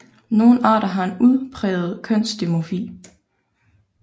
Nogle arter har en udpræget kønsdimorfi